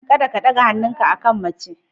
Kada ka ɗaga hannunka akan mace.